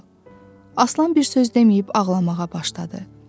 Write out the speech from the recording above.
Aslan bir söz deməyib ağlamağa başladı.